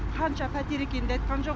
қанша пәтер екенін де айтқан жоқ